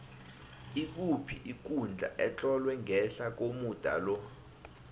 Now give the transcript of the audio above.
ikuphi ikundla etlolwe ngehla komuda lo